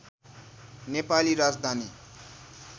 Nepali Rajdhani